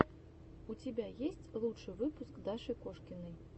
у тебя есть лучший выпуск даши кошкиной